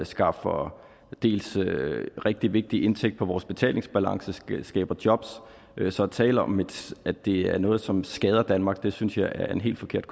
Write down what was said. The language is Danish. skaffer rigtig vigtig indtægt til vores betalingsbalance dels skaber jobs så at tale om at det er noget som skader danmark synes jeg er en helt forkert